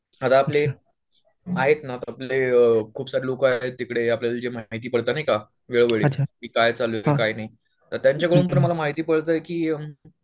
आता आपले आहेत ना खुप सारे लोकं आहेत तिकडे आपल्याला जे माहिती पडतं नाही का वेळोवेळी की काय चालय काय नाही त्यांच्याकडून मला माहिती पडतंय की